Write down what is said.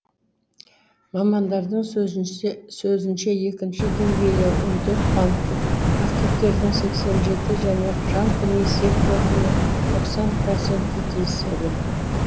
мамандардың сөзінше екінші деңгейлі он төрт банкке активтердің сексен жеті және жалпы несие портфелінің тоқсан проценті тиесілі